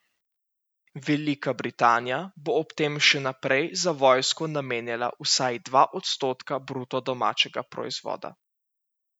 Velika Britanija bo ob tem še naprej za vojsko namenjala vsaj dva odstotka bruto domačega proizvoda.